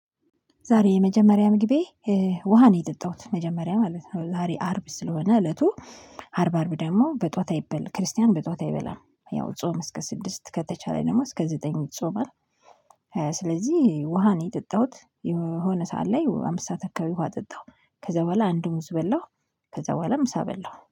ዛሬ የመጀመሪያ ምግቤ ውሃ ነው የጠጣሁት መጀመሪያ ማለት ነው። ዛሬ አርብ ስለሆነ እለቱ አርብ አርብ ደግሞ በጠዋት አይበል ክርስቲያን በጠዋት አይበላም ያው ጾም እስከ ስድስት ከተቻለ ደግሞ እስከ ዘጠኝ ይጾማል። ስለዚህ ውሃ ነው የጠጣሁት የሆነ ሰዓት ላይ አምስት ሰዓት አካባቢ ውሃ ጠጣሁ። ከዛ በኋላ አንድም ሙዝ በላሁ። ከዛ በኋላ ምሳ በላሁ